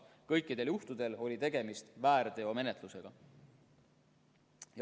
Kõikidel juhtudel oli tegemist väärteomenetlusega.